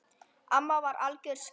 Amma var algjör skvísa.